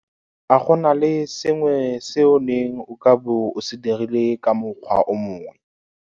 A go na le sengwe se o neng o ka bo o se dirile ka mokgwa o mongwe?